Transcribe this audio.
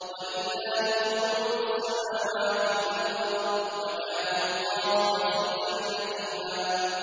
وَلِلَّهِ جُنُودُ السَّمَاوَاتِ وَالْأَرْضِ ۚ وَكَانَ اللَّهُ عَزِيزًا حَكِيمًا